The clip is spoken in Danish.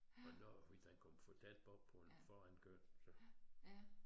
Og når hvis den kom for tæt på på en forankørende så